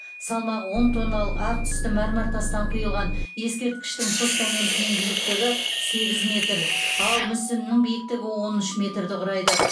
салмағы он тонналық ақ түсті мәрмәр тастан құйылған ескерткіштің постаментінің биіктігі сегіз метр ал мүсінінің биіктігі он үш метрді құрайды